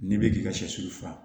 N'i bɛ k'i ka sɛsu faga